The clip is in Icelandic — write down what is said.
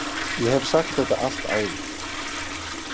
Ég hef sagt þetta allt áður.